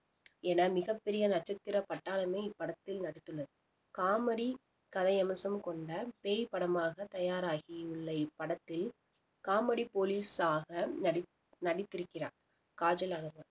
என மிகப் பெரிய நட்சத்திர பட்டாளமே இப்படத்தில் நடித்துள்ளது காமெடி கதை அம்சம் கொண்ட பேய் படமாக தயாராகி உள்ள இப்படத்தில் காமெடி போலீஸ் ஆக நடித்~ நடித்திருக்கிறார் காஜல் அகர்வால்